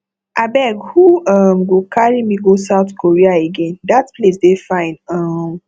abeg who um go carry me go south korea again dat place dey fine um